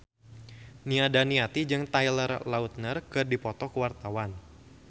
Nia Daniati jeung Taylor Lautner keur dipoto ku wartawan